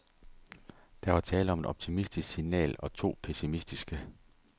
Der var tale om et optimistisk signal og to pessimistiske.